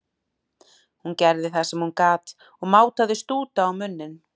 Hún gerði það sem hún gat og mátaði stúta á munninn.